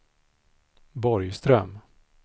Borgström